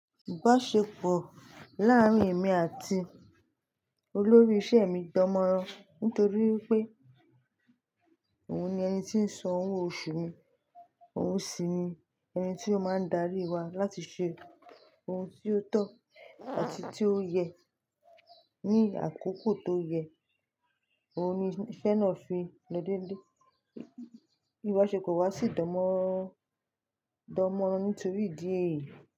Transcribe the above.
Ìbáṣepọ̀ láàárín èmi àti olórí isẹ́ mi dánmọ́rán nítorí pé òun ni ẹni tí ń san owó oṣù mi, òun sì ni ẹni tí ó máa ń darí wa láti ṣe ohun tí ó tọ́ àti tí ó yẹ ní àkókò tó yẹ. Òun ni iṣẹ́ náà fi lọ dé ilé. Ìbáṣepọ̀ wa sì dánmọ́rán nítorí ìdí èyí.